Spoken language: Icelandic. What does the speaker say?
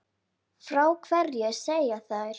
Frá hverju segja þær?